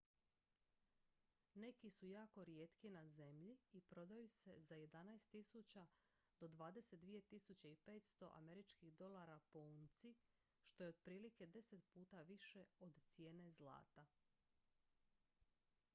neki su jako rijetki na zemlji i prodaju se za 11.000 do 22.500 usd po unci što je otprilike deset puta više od cijene zlata